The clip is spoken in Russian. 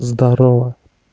здарово